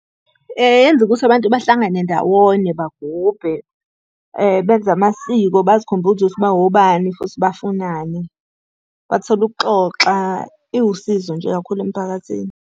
Yenza ukuthi abantu bahlangane ndawonye bagubhe, benze amasiko, bazikhumbuze ukuthi bawobani futhi bafunani. Bathole ukuxoxa, iwusizo nje kakhulu emphakathini.